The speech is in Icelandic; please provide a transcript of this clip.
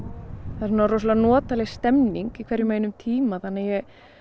er svona rosalega notaleg stemning í hverjum og einum tíma þannig að ég